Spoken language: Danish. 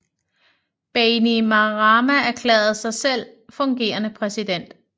Bainimarama erklærede sig selv fungerende præsident